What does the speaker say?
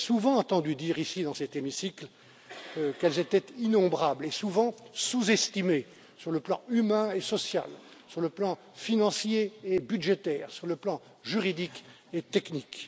Vous m'avez souvent entendu dire ici dans cet hémicycle qu'elles étaient innombrables et souvent sous estimées sur le plan humain et social, sur le plan financier et budgétaire, sur le plan juridique et technique.